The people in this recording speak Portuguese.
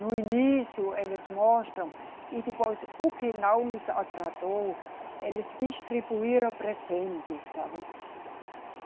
No início, eles mostram, e depois, o que não nos agradou, eles distribuíram presentes, sabe?